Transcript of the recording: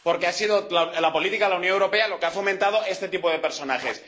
porque ha sido la política de la Unión Europea la que ha fomentado este tipo de personajes.